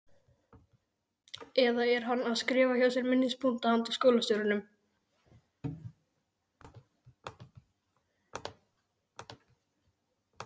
Eða er hann að skrifa hjá sér minnispunkta handa skólastjóranum?